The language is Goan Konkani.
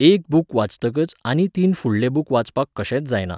एक बूक वाचतकच आनी तीन फुडले बूक वाचपाक कशेंच जायना.